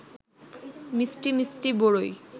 মিষ্টি মিষ্টি বরই